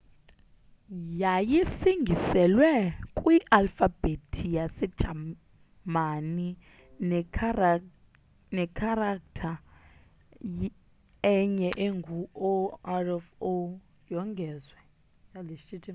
yayisingiselwe kwi alfabhethi yase jamani ne kharaktha enye engu õ/õ yongezwa